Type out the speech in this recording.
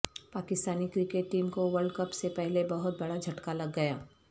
Pakistani cricket team کو world cup سے پہلے بہت بڑا جھٹکا لگ گیا